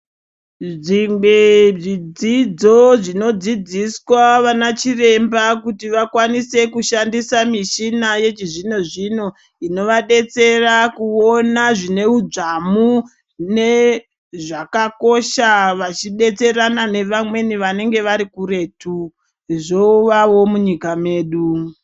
Zvimbe zvidzidzo zvinodzidziswa vana chiremba kuti vakwanise kushandisa muchina yechizvino zvino inovadetsera kuona zvine udzamu nezvakakosha vachidetserana nevamweni vanenga vari kuretu zvowawo munyika mwedu.